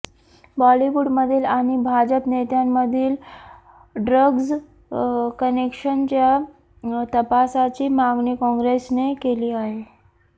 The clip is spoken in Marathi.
बॉलिवूड मधील आणि भाजप नेत्यांमधील ड्रग्ज कनेक्शनच्या तपासाची मागणी काँग्रेसने केली आहे